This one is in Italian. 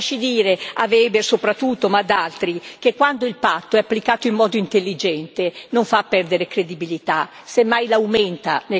Weber, soprattutto, ma anche ad altri che quando il patto è applicato in modo intelligente non fa perdere credibilità, semmai la aumenta nei confronti dei cittadini.